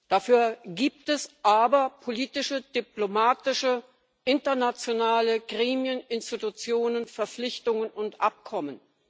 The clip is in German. Dafür gibt es aber politische, diplomatische, internationale Gremien, Institutionen, Verpflichtungen und Abkommen.